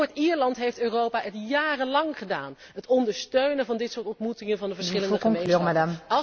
In Noord Ierland heeft Europa dat jarenlang gedaan, het ondersteunen van dit soort ontmoetingen van de verschillende gemeenschappen.